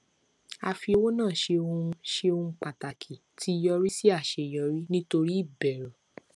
a fi owó náa ṣe ohun ṣe ohun pàtàkì tí yọrí sí aṣeyọrí nítorí ìbẹrù